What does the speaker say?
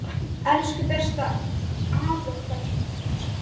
Elsku besta afa okkar.